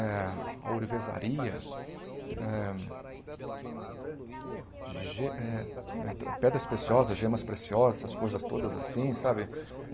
Eh a ourivezaria, eh ge eh pedras preciosas, gemas preciosas, essas coisas todas assim, sabe?